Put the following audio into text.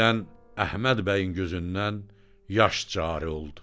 Birdən Əhməd bəyin gözündən yaş cari oldu.